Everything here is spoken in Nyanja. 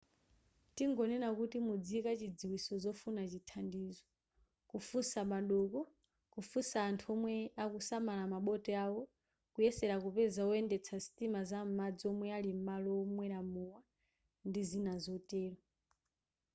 tingonena kuti mudziyika chidziwitso zofuna chithandizo kufunsa m'madoko kufunsa anthu omwe akusamala maboti awo kuyesera kupeza woyendetsa sitima zam'madzi omwe ali m'malo omwera mowa ndi zina zotero